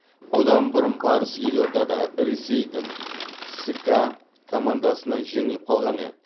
бұдан бұрын барыс елордада ресейдің ска командасынан жеңіліп қалған еді